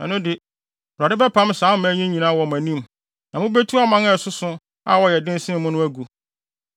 ɛno de, Awurade bɛpam saa aman yi nyinaa wɔ mo anim, na mubetu aman a ɛsoso na wɔyɛ den sen mo no agu.